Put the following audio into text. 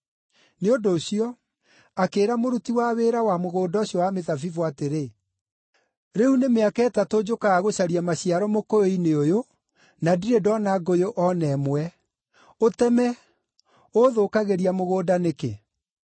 Nĩ ũndũ ũcio, akĩĩra mũruti wa wĩra wa mũgũnda ũcio wa mĩthabibũ atĩrĩ, ‘Rĩu nĩ mĩaka ĩtatũ njũkaga gũcaria maciaro mũkũyũ-inĩ, ũyũ na ndirĩ ndoona ngũyũ o na ĩmwe. Ũteme! Ũũthũkagĩria mũgũnda nĩkĩ?’